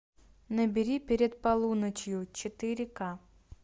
набери перед полуночью четыре ка